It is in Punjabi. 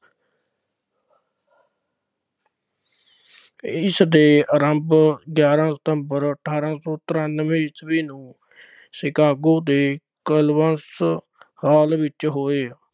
ਇਸਦਾ ਆਰੰਭ ਗਿਆਰਾਂ ਸਤੰਬਰ ਅਠਾਰਾਂ ਸੌ ਤਰਾਨਵੇਂ ਈਸਵੀ ਨੂੰ Chicago ਦੇ hall ਵਿੱਚ ਹੋਇਆ।